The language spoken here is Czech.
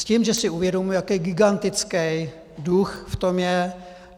S tím, že si uvědomuji, jaký gigantický dluh v tom je.